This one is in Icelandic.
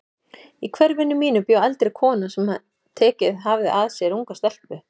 Í hverfinu mínu bjó eldri kona sem tekið hafði að sér unga stelpu.